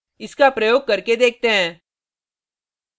इसका प्रयोग करके देखते हैं